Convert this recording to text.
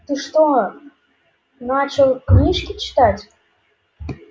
ты что начал книжки читать